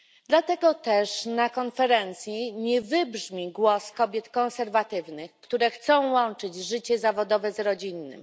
Dlatego też na konferencji nie wybrzmi głos kobiet konserwatywnych, które chcą łączyć życie zawodowe z rodzinnym.